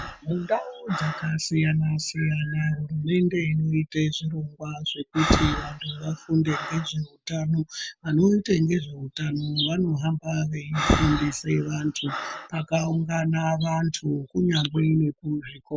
Mundau dzakasiyana-siyana hurumende inoite zvirongwa zvekuti vantu vafunde ngezveutano, vanoite ngezveutano vanohamba veifundise vantu pakaungana vantu kunyangwe nekuzvikora.